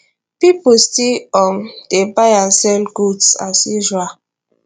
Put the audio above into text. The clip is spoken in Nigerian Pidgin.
pipo still um dey buy and sell goods as usual